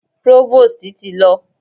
Próvòstì ti lọ.